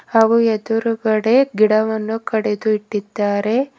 ಹಾಗು ಎದುರುಗಡೆ ಗಿಡವನ್ನು ಕಡೆದು ಇಟ್ಟಿದ್ದಾರೆ.